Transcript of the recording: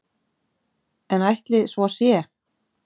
En ætli svo sé?